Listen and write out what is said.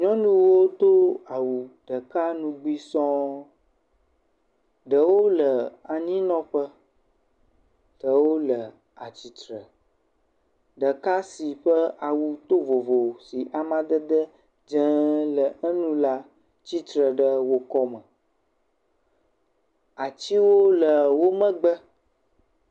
Nyɔnuwo do awu ɖeka ŋugbe sɔŋ, ɖewo le anyinɔƒe, ɖewo le atsitre, ɖeka si ƒe awu to vovo si amadede dzee le enu la, tsitre ɖe wo akɔme. Atiwo le wo megbe.